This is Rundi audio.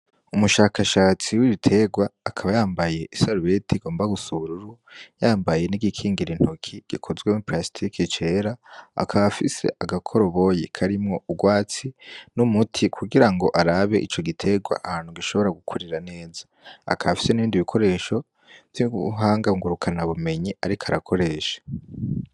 Umushakashatsi w'ibiterwa akaba yambaye isarubeti igomba gusa ubururu yambaye nigikingira intoki gikozwe muri parasitike cera akaba afise agakoroboyi karimwo urwatsi n'umuti kugira ngo arabe ico giterwa ahantu gishobora gukurira neza akaba afise nibindi bikoresho vy'ubuhanga ngurukanabumenyi ariko arakoresha.